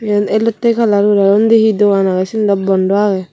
iyen elottey colour guri aro undi he dogan agey sindw bondo agey.